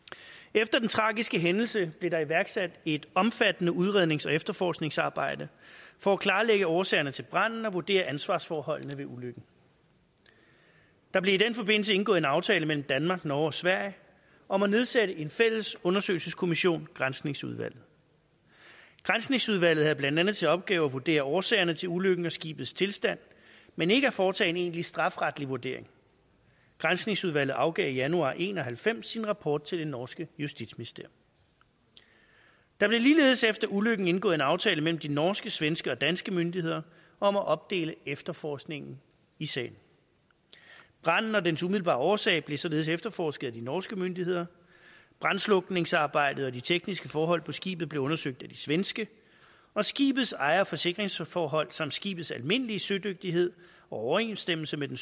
efter den tragiske hændelse blev der iværksat et omfattende udrednings og efterforskningsarbejde for at klarlægge årsagerne til branden og vurdere ansvarsforholdene ved ulykken der blev i den forbindelse indgået en aftale mellem danmark norge og sverige om at nedsætte en fælles undersøgelseskommission granskningsudvalget granskningsudvalget havde blandt andet til opgave at vurdere årsagerne til ulykken og skibets tilstand men ikke at foretage en egentlig strafferetlig vurdering granskningsudvalget afgav i januar nitten en og halvfems sin rapport til det norske justitsministerium der blev ligeledes efter ulykken indgået en aftale mellem de norske svenske og danske myndigheder om at opdele efterforskningen i sagen branden og dens umiddelbare årsag blev således efterforsket af de norske myndigheder brandslukningsarbejdet og de tekniske forhold på skibet blev undersøgt af de svenske og skibets ejer og forsikringsforhold samt skibets almindelige sødygtighed og overensstemmelse med den